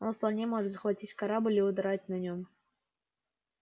он вполне может захватить корабль и удрать на нём